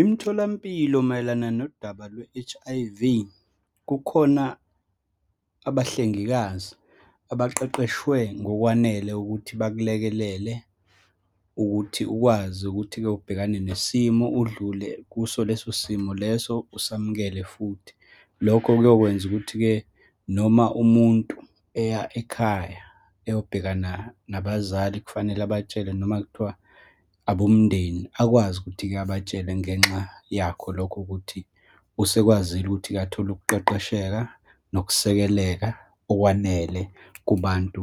Imitholampilo mayelana nodaba lwe-H_I_V, kukhona abahlengikazi abaqeqeshwe ngokwanele ukuthi bakulekelele ukuthi ukwazi ukuthi-ke ubhekane nesimo, udlule kuso leso simo leso, usamukele futhi. Lokho kuyokwenza ukuthi-ke noma umuntu eya ekhaya, eyobhekana nabazali, kufanele abatshele, noma kuthiwa abomndeni, akwazi ukuthi-ke abatshele ngenxa yakho lokho ukuthi, usekwazile ukuthi-ke athole ukuqeqesheka nokusekeleka okwanele kubantu